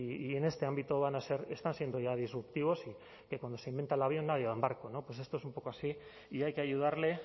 y en este ámbito van a ser están siendo ya disruptivos y que cuando se inventa el avión nadie va en barco pues esto es un poco así y hay que ayudarle